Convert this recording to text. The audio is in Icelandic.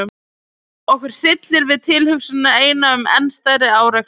Okkur hryllir við tilhugsunina eina um enn stærri árekstra.